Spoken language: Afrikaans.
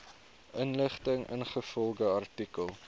inligting ingevolge artikel